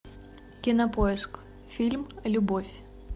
кинопоиск фильм любовь